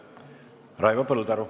Raivo Põldaru.